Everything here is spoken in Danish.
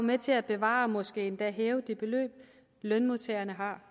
med til at bevare og måske endda hæve det beløb lønmodtagerne har